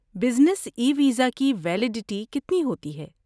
Business e visa کی validity کتنی ہوتی ہے؟